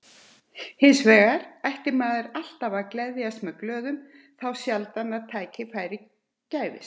Hins vegar ætti maður alltaf að gleðjast með glöðum, þá sjaldan að tækifæri gæfist.